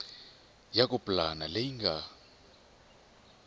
ya ku pulana leyi nga